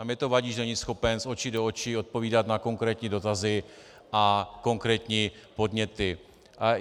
A mně to vadí, že není schopen z očí do očí odpovídat na konkrétní dotazy a konkrétní podněty.